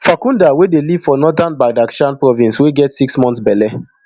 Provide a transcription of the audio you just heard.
farkhunda wey dey live for northern badakhshan province wey get six months belle